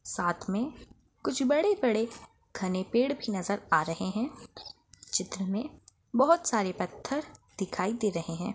साथ में कुछ बड़े-बड़े घने पेड़ भी नजर आ रहे है चित्र में बहोत सारे पत्थर दिखाई दे रहे है।